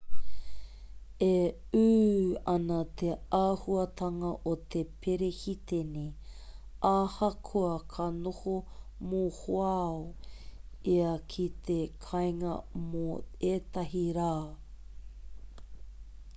e ū ana te āhuatanga o te perehitene ahakoa ka noho mohoao ia ki te kāinga mō ētahi rā